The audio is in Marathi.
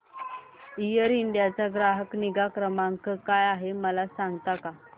एअर इंडिया चा ग्राहक निगा क्रमांक काय आहे मला सांगता का